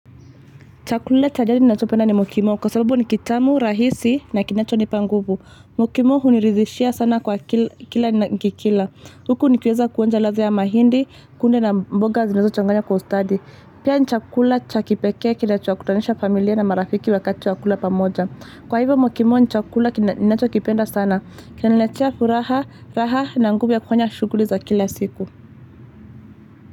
Chakula cha jadi ninachopenda ni mukimo kwa sababu ni kitamu, rahisi na kinachonipa nguvu. Mukimo huniridhishia sana kwa kila ni nikikila Huku nikiweza kuonja ladha ya mahindi, kunde na mboga zinazochanganywa kwa ustadi. Pia ni chakula cha kipekee kinachowakutanisha familia na marafiki wakati wa kula pamoja. Kwa hivyo mukimo ni chakula kina ninachokipenda sana. Kinaniletea furaha na nguvu ya kufanya shughuli za kila siku.